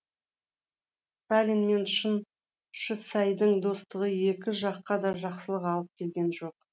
сталин мен шыңшысайдың достығы екі жаққа да жақсылық алып келген жоқ